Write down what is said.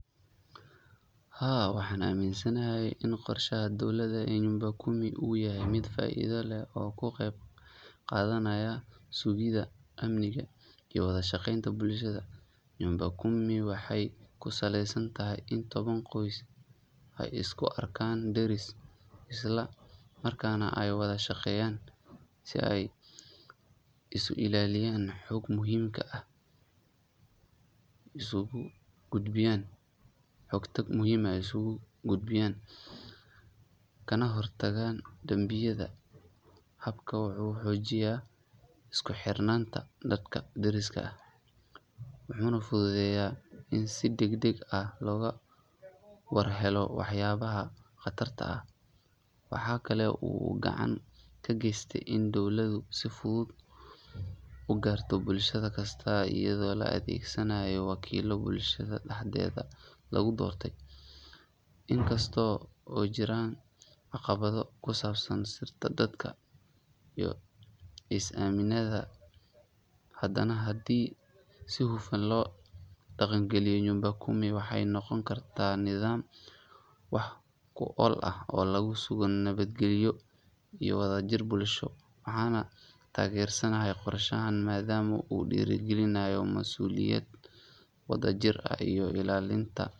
Haa waxan aminsanahay in qorshaha dowladda ee nyumba kumi uu yahay miid faa-ida leh oo ku qeyb qaadanayaa sugida amniga iyo wada shaqeynta bulshada nyumba kumi waxay ku saleysan tahay in toban qoys ay isku arkaan deris isla maarka ayna wada shaqeyan si aay isu ilaliyan xoogto muhiim kaa ah isugu gutbiyan, kana hortagan dambiyada habka wuxu xoojiya isku xirnanta dadka deriska ah, wuxu na fududeyaa in sii deg deg ah , loga war helo wax yaba ha qatarta aah , waxa kale uu gacan ka geystay inu dowladdu si fudud ugarto bulshad kasta iido laga adegsanayo wakiilka bulshada dhahdeeda lagu doortay inkastoo uu jiraan caqabado ku saabsan sirta dadka iyo is aaminada haddana hadii si hufun loo daqan galiyo nyumba kumi waxay noqon kartaa nidaam wax ku ool ah oo lagu sugo nabadgelyo iyo wadajir bulsho waxaana taageersanayo qorshahan maadaama uu dhiirigelinayo mas-uuliyad wadajir iyo ilaalinta.